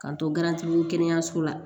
K'an to garanti kɛnɛyaso la